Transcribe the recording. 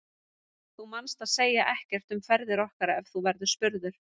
Þú manst að segja ekkert um ferðir okkar ef þú verður spurður.